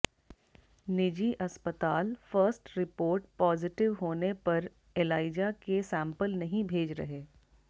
निजी अस्पताल first report positive होने पर एलाइजा के सैंपल नहीं भेज रहे